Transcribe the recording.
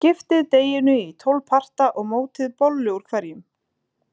Skiptið deiginu í tólf parta og mótið bollu úr hverjum.